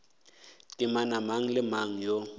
temana mang le mang yo